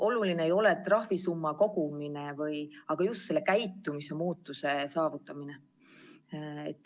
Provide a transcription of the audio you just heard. Oluline ei ole trahvisumma kogumine, vaid just käitumise muutuse saavutamine.